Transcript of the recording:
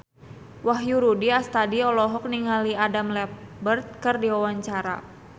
Wahyu Rudi Astadi olohok ningali Adam Lambert keur diwawancara